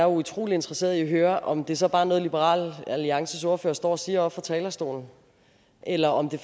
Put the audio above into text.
utrolig interesseret i at høre om det så bare er noget liberal alliances ordfører står og siger oppe fra talerstolen eller om det